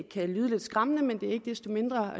kan lyde lidt skræmmende men det er ikke desto mindre